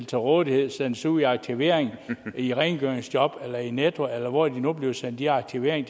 til rådighed og sendes ud i aktivering i rengøringsjob eller i netto eller hvor de nu bliver sendt i aktivering